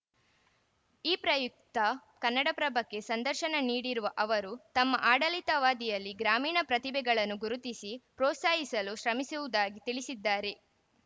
ಈ ಪ್ರಯುಕ್ತ ಕನ್ನಡಪ್ರಭಕ್ಕೆ ಸಂದರ್ಶನ ನೀಡಿರುವ ಅವರು ತಮ್ಮ ಆಡಳಿತವಧಿಯಲ್ಲಿ ಗ್ರಾಮೀಣ ಪ್ರತಿಭೆಗಳನ್ನು ಗುರುತಿಸಿ ಪ್ರೋತ್ಸಾಹಿಸಲು ಶ್ರಮಿಸುವುದಾಗಿ ತಿಳಿಸಿದ್ದಾರೆ